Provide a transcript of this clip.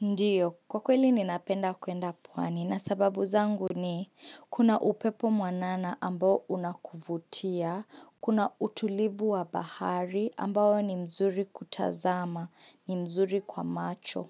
Ndiyo, kwa kweli ninapenda kuenda pwani na sababu zangu ni kuna upepo mwanana ambao unakuvutia, kuna utulivu wa bahari ambao ni mzuri kutazama, ni mzuri kwa macho.